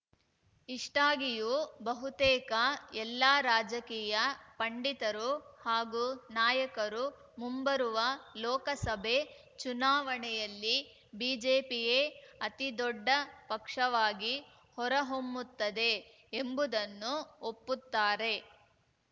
ಇಷ್ಟಾಗಿಯೂ ಬಹುತೇಕ ಎಲ್ಲಾ ರಾಜಕೀಯ ಪಂಡಿತರು ಹಾಗೂ ನಾಯಕರು ಮುಂಬರುವ ಲೋಕಸಭೆ ಚುನಾವಣೆಯಲ್ಲಿ ಬಿಜೆಪಿಯೇ ಅತಿದೊಡ್ಡ ಪಕ್ಷವಾಗಿ ಹೊರಹೊಮ್ಮುತ್ತದೆ ಎಂಬುದನ್ನು ಒಪ್ಪುತ್ತಾರೆ